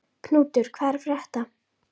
Knútur, hvað er að frétta?